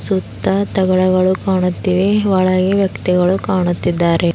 ಸುತ್ತ ತಗಳುಗಳು ಕಾಣುತ್ತಿವೆ ಒಳಗೆ ವ್ಯಕ್ತಿಗಳು ಕಾಣುತ್ತಿದ್ದಾರೆ.